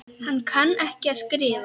Hann kann ekki að skrifa.